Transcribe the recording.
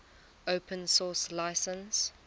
open source license